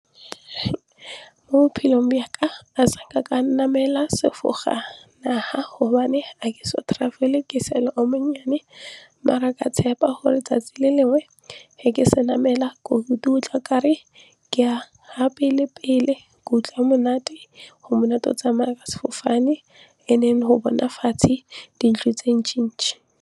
Mo bophelong byaka ka namela sefofane gobane a ke so travel-e ke sale o monnyane mara ka tshepa gore 'tsatsi le lengwe he ke se namela gore tla re ke ya ha pele pele ke utlwa monate go monate go tsamaya ka sefofane and then go bona fatshe dilo tse ntšhintšhi.